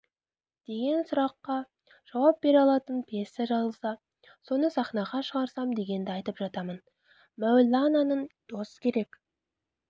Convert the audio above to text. деген сұраққа жауап бере алатын пьеса жазылса соны сахнаға шығарсам дегенді айтып жатамын мәулананың дос керек